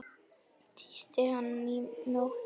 Tísti hann í nótt?